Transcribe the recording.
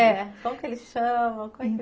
É, como que eles chamam, como é que foi?